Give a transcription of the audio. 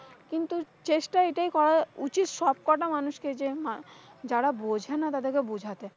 কিন্তু চেষ্টা এটাই করা উচিত সবকটা মানুষকে যে না, যারা বোঝে না তাদেরকে বুঝাতে।